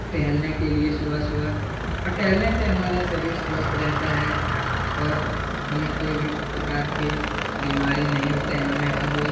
टहलने के लिए सुबह-सुबह और टहलने से हमारा शरीर स्वस्थ रहता है और हमें कोई भी प्रकार के बीमारी नहीं होते हैं हमें हर रोज --